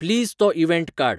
please तो event काड